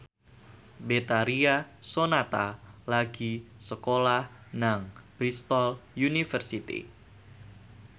Betharia Sonata lagi sekolah nang Bristol university